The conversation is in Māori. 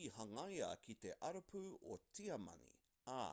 i hangaia ki te arapū o tiamani ā